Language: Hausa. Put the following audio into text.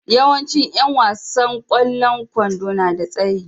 Yawancin yan wasan kwallon kwando na da tsayi.